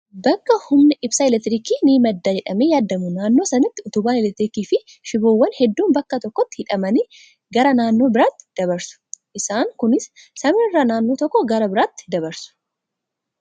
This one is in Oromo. Bakka humni ibsaa elektiriikii ni madda jedhamee yaadamu naannoo sanatti utubaan elektiriikii fi shiboowwan hedduun bakka tokkotti hidhamanii gara naannoo biraatti dabarsu. Isaan kunis samiirra naannoo tokkoo gara biraatti dabarsu.